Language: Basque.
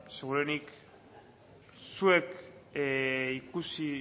seguruenik zuek